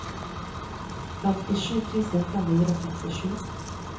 femtisju tusen fem hundre og trettisju